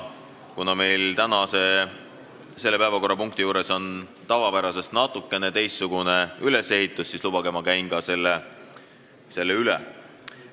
Kuna täna on selle päevakorrapunkti arutelul tavapärasest natukene teistsugune ülesehitus, siis lubage, et ma käin selle üle.